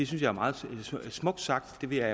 jeg er meget smukt sagt det vil jeg